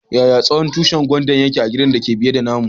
Yaya tsawon tushin gwandan da ke a'gidan da ke biye da namu?